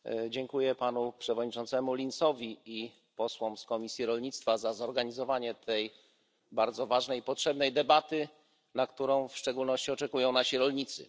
Dziękuję panu przewodniczącemu Linsowi i posłom z komisji rolnictwa za zorganizowanie tej bardzo ważnej i potrzebnej debaty, na którą w szczególności oczekują nasi rolnicy.